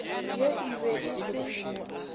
ye e be e se